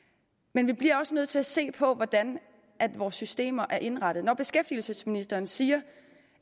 men vi bliver også nødt til at se på hvordan vores systemer er indrettet når beskæftigelsesministeren siger